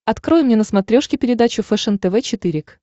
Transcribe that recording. открой мне на смотрешке передачу фэшен тв четыре к